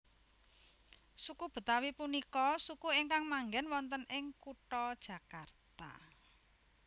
Suku Betawi punika suku ingkang manggen wonten ing kutha Jakarta